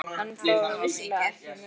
En það var vissulega ekki mögulegt.